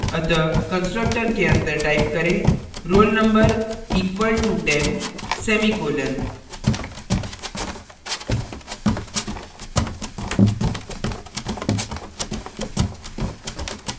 अतः constructor के अंदर type करें roll _ number equal to ten semicolon